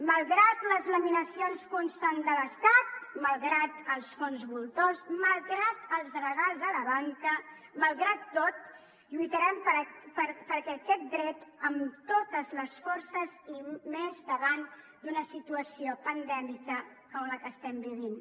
malgrat les laminacions constants de l’estat malgrat els fons voltors malgrat els regals a la banca malgrat tot lluitarem per aquest dret amb totes les forces i més davant d’una situació pandèmica com la que estem vivint